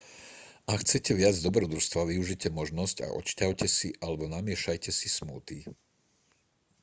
ak chcete viac dobrodružstva využite možnosť a odšťavte si alebo namiešajte si smoothie